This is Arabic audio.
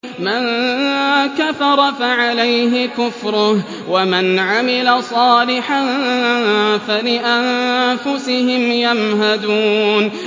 مَن كَفَرَ فَعَلَيْهِ كُفْرُهُ ۖ وَمَنْ عَمِلَ صَالِحًا فَلِأَنفُسِهِمْ يَمْهَدُونَ